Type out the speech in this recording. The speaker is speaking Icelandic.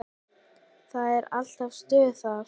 Það er alltaf stuð þar.